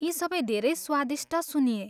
यी सबै धेरै स्वादिष्ट सुनिए।